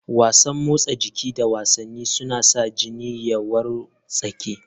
Wasan motsa jiki da wasanni suna sa jini ya wartsake.